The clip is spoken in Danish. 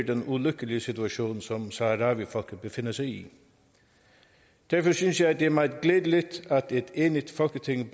den ulykkelige situation som saharawifolket befinder sig i derfor synes jeg det er meget glædeligt at et enigt folketing